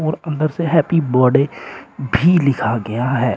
और अंदर से हैप्पी बडे भी लिखा गया है।